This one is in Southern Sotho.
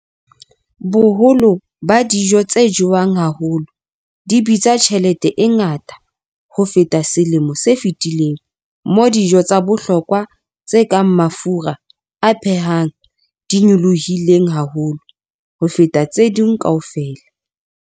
Boholo ba dijo tse jewang haholo di bitsa tjhelete e ngata ho feta selemo se fetileng, moo dijo tsa bohlokwa tse kang mafura a phehang di nyolohileng haholo ho feta tse ding kaofela.